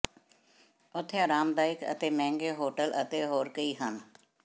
ਉੱਥੇ ਆਰਾਮਦਾਇਕ ਅਤੇ ਮਹਿੰਗੇ ਹੋਟਲ ਅਤੇ ਹੋਰ ਕਈ ਹਨ